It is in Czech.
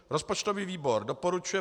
Rozpočtový výbor doporučuje